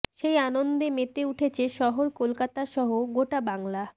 সেই আনন্দ মেতে উঠেছে শহর কলকাতা সহ গোটা বাংলা